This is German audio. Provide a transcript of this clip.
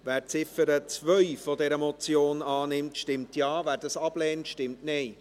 Wer die Ziffer 2 dieser Motion annimmt, stimmt Ja, wer dies ablehnt, stimmt Nein.